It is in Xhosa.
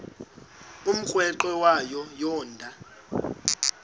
umrweqe wayo yoonda